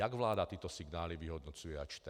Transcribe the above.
Jak vláda tyto signály vyhodnocuje a čte?